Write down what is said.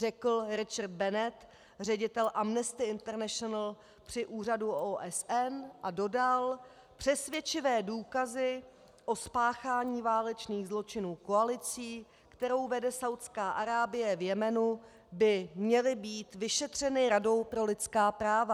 Řekl Richard Bennett, ředitel Amnesty Internationl při Úřadu OSN, a dodal: Přesvědčivé důkazy o spáchání válečných zločinů koalicí, kterou vede Saúdská Arábie v Jemenu, by měly být vyšetřeny Radou pro lidská práva.